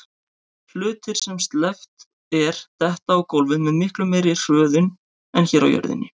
Hlutir sem sleppt er detta á gólfið með miklu meiri hröðun en hér á jörðinni.